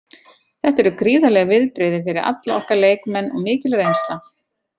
Þetta eru gríðarleg viðbrigði fyrir alla okkar leikmenn og mikil reynsla.